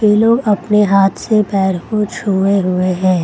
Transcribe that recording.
ये लोग अपने हाथ से पैर को छुए हुए हैं।